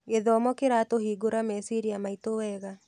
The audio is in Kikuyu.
Gĩthomo kĩratũhingũra meciria maitũ wega.